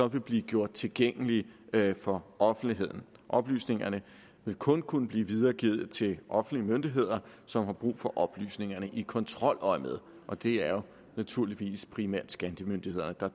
vil blive gjort tilgængelige for offentligheden oplysningerne vil kun kunne blive videregivet til offentlige myndigheder som har brug for oplysningerne i kontroløjemed og det er jo naturligvis primært skattemyndighederne der